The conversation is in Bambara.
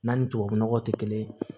N'an ni tubabu nɔgɔ tɛ kelen